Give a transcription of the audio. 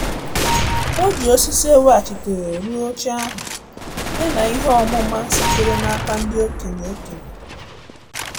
O ji osisi eweghachitere rụọ oche ahụ ya na ihe ọmụma sitere n'aka ndị okenye okenye